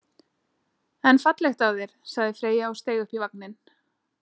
En fallegt af þér, sagði Freyja og steig upp í vagninn.